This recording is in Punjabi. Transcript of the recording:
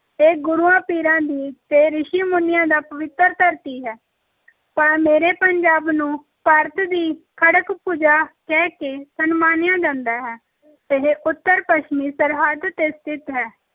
ਇਹ ਗੁਰੂਆਂ, ਪੀਰਾਂ ਦੀ ਤੇ ਰਿਸ਼ੀ ਮੁਨੀਆਂ ਦਾ ਪਵਿੱਤਰ ਧਰਤੀ ਹੈ ਪ ਮੇਰੇ ਪੰਜਾਬ ਨੂੰ ਭਾਰਤ ਦੀ ਖੜਗ ਭੁਜਾ ਕਹਿ ਕੇ ਸਨਮਾਨਿਆ ਜਾਂਦਾ ਹੈ ਇਹ ਉੱਤਰ-ਪੱਛਮੀ ਸਰਹੱਦ ‘ਤੇ ਸਥਿਤ ਹੈ।